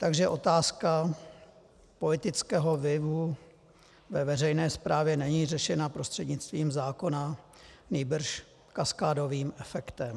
Takže otázka politického vlivu ve veřejné správě není řešena prostřednictvím zákona, nýbrž kaskádovým efektem.